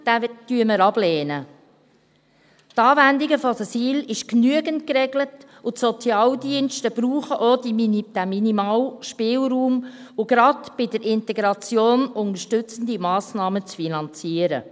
Die Anwendung der SIL ist genügend geregelt, und die Sozialdienste brauchen diesen minimalen Spielraum, um gerade bei der Integration unterstützende Massnahmen zu finanzieren.